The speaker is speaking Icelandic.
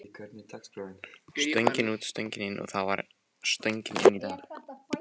Stöngin út, stöngin inn og það var stöngin inn í dag.